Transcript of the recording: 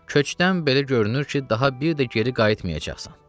köçdən belə görünür ki, daha bir də geri qayıtmayacaqsan.